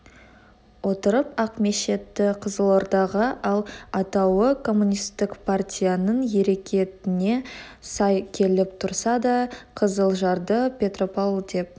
отырып ақмешітті қызылордаға ал атауы коммунистік партияның әрекетіне сай келіп тұрса да қызылжарды петрjпавл деп